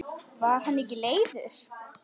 Var hann ekki leiður?